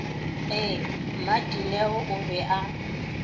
ee mmadineo o be a